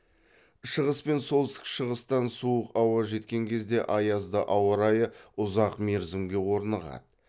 шығыс пен солтүстік шығыстан суық ауа жеткен кезде аязды ауа райы ұзақ мерзімге орнығады